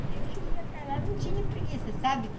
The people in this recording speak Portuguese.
A gente ia para lá, não tinha preguiça, sabe?